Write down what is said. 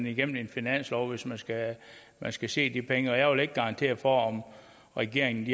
igennem en finanslov hvis man skal man skal se de penge jeg vil ikke garantere for at regeringen